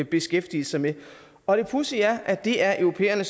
beskæftige sig med og det pudsige er at det er europæerne